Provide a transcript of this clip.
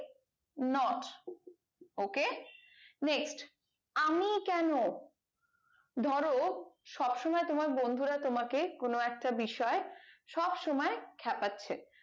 not ok next আমি কেন ধরো সব সময় তোমার বন্ধুরা তোমাকে কোনো একটা বিষয়ে সব সময় খ্যাপাচ্ছে